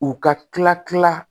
U ka tila kila